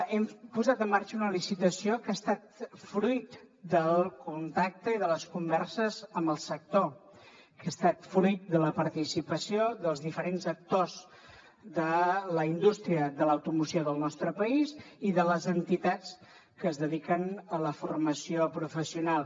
hem posat en marxa una licitació que ha estat fruit del contacte i de les converses amb el sector que ha estat fruit de la participació dels diferents actors de la indústria de l’automoció del nostre país i de les entitats que es dediquen a la formació professional